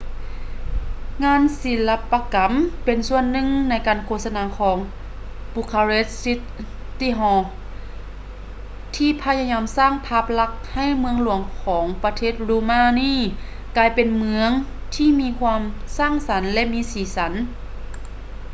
ງານສິລະປະກຳ ເປັນສ່ວນໜຶ່ງໃນການໂຄສະນາຂອງ ບູຄາເຣສ໌ຊິດຕີ້ຮໍ bucharest city hall ທີ່ພະຍາຍາມສ້າງພາບລັກໃຫ້ເມືອງຫຼວງຂອປະເທດ ຣູມານີ ກາຍເປັນເມືອງທີມີຄວາມສ້າງສັນ ແລະ ມີສີສັນ